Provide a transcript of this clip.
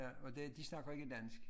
Ja og det de snakker ikke dansk